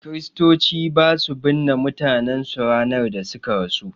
Kristoci basu binne mutanen su ranar da suka rasu